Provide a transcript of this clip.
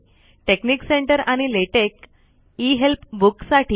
technique centre आणि LaTeX इ help book साठी